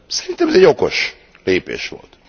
Szerintem ez okos lépés volt.